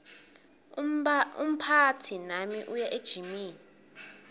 umphatsi nami uya ejimini